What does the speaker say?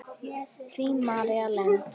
Þín, María Lind.